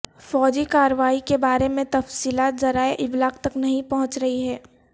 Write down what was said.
فوجی کارروائی کے بارے میں تفصیلات ذرائع ابلاغ تک نہیں پہنچ رہی ہیں